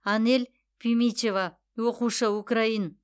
анель пимичева оқушы украин